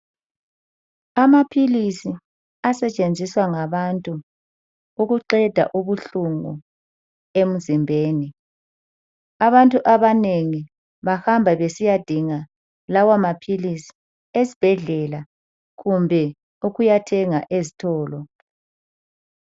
Amaphilisi asetshenziswa ngabantu ukuqeda ubuhlungu emzimbeni. Abantu abanengi bahamba besiyadinga lawamaphilisi esibhedlela kumbe ukuyathenga ezitolo.